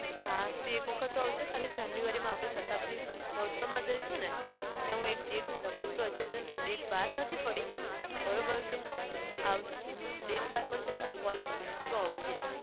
હા તું એક વખત તો અવાજે ખાલી january માં આપણે શતાબ્દી મોહત્સવમાં જઈશું ત્યાં હું એક date લગભગ હજુ તેની date બાર નથી પડી બરાબર છે આવ હું date બાર પડશે તો તને call કરીશ તું અવાજે.